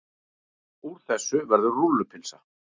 Úr þessu verður rúllupylsa.